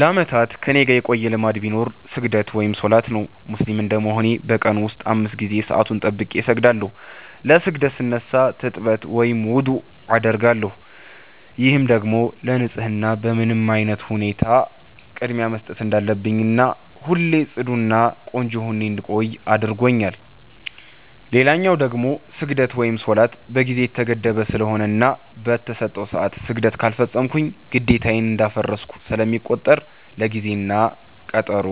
ለአመታት ከኔጋ የቆየ ልማድ ቢኖር ስግደት(ሰላት) ነው። ሙስሊም እንደመሆኔ በ ቀን ውስጥ 5 ጊዜ ሰአቱን ጠብቄ እሰግዳለው። ለ ስግደት ስነሳ ትጥበት(ውዱዕ) አደርጋለው፤ ይህም ደግሞ ለ ንፀህና በምንም አይነት ሁኔታ ቅድሚያ መስጠት እንዳለብኝና ሁሌ ፅዱ እና ቆንጆ ሁኜ እንድቆይ አድርጎኛል። ሌላው ደግሞ ስግደት(ሰላት) በ ጊዜ የተገደበ ስለሆነና በ ተሰጠው ሰዐት ስግደት ካልፈፀምኩ ግዴታዬን እንዳፈረስኩ ስለሚቆጠር ለ ጊዜ እና ቀጠሮ